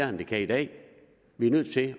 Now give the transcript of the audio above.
end det kan i dag vi er nødt til